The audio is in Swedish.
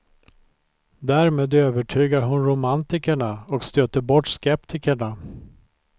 Därmed övertygar hon romantikerna och stöter bort skeptikerna.